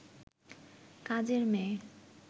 কাজের মেয়ে